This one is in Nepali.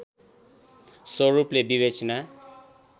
स्वरूपले विवेचना